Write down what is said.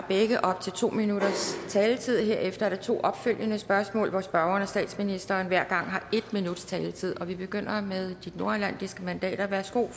har begge op til to minutters taletid herefter er der to opfølgende spørgsmål hvor spørgeren og statsministeren hver gang har en minuts taletid vi begynder med de nordatlantiske mandater værsgo